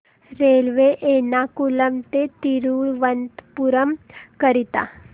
railway Ernakulam ते थिरुवनंतपुरम करीता